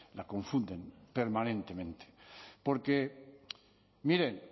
la confunden permanentemente porque miren